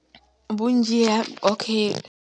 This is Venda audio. Vhunzhi ha, okay.